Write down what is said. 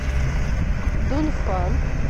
дунфан